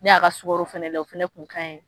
Ne y'a ka sukaro fana lajɛ o fana tun ka ɲi